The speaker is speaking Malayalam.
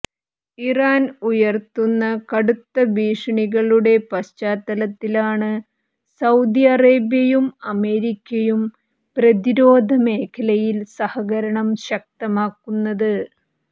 ഇറാൻ ഉയർത്തുന്ന കടുത്ത ഭീഷണികളുടെ പശ്ചാത്തലത്തിലാണ് സൌദി അറേബ്യയും അമേരിക്കയും പ്രതിരോധ മേഖലയിൽ സഹകരണം ശക്തമാക്കുന്നത്